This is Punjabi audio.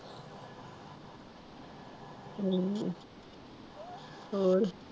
ਹਮ ਹੋਰ